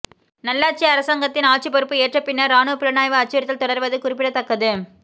நல்லாட்சி அரசங்கத்தின் ஆட்சி பொறுப்பு ஏற்ற பின்னர் இராணுவ புலனாய்வு அச்சுறுத்தல் தொடர்வது குறிப்பிடத்தக்கது